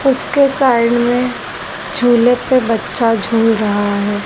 उसके साइड में झूले पे बच्चा झूल रहा है।